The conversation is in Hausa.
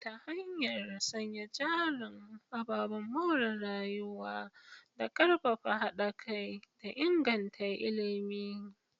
ta hanyar sanya jarin ababen more rayuwa, da karfafa hada kai, da inganta ilimi.